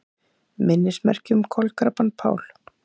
Minnismerki um kolkrabbann Pál